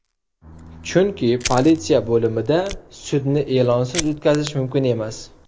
Chunki politsiya bo‘limida sudni e’lonsiz o‘tkazish mumkin emas!